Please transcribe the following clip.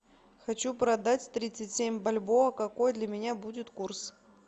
хочу продать тридцать семь бальбоа какой для меня будет курс